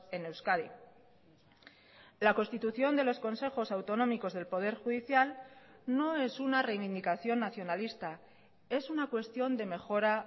en euskadi la constitución de los consejos autonómicos del poder judicial no es una reivindicación nacionalista es una cuestión de mejora